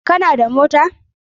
Kana da mota?